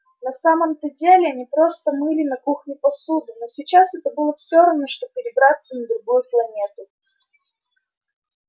на самом-то деле они просто мыли на кухне посуду но сейчас это было всё равно что перебраться на другую планету